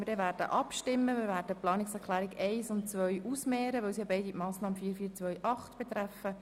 Wir werden die Planungserklärungen 1 und 2 einander gegenüberstellen, weil sie beide die Massnahme 44.2.8 betreffen.